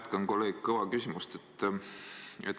Ma jätkan kolleeg Kõva küsimust.